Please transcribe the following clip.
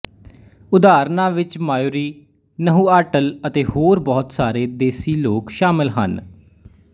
ਉਦਾਹਰਣਾਂ ਵਿੱਚ Maori Nahuatl ਅਤੇ ਹੋਰ ਬਹੁਤ ਸਾਰੇ ਦੇਸੀ ਲੋਕ ਸ਼ਾਮਲ ਹਨ